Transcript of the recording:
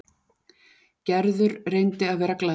Gerður reyndi að vera glaðleg.